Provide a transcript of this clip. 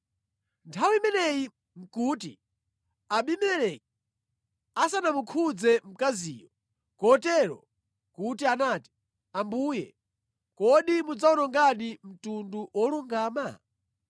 Nthawi imeneyi nʼkuti Abimeleki asanamukhudze mkaziyo, kotero kuti anati, “Ambuye, kodi mudzawonongadi mtundu wolungama?